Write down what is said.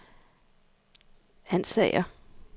Ansager